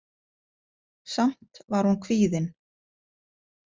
Samt var hún kvíðin.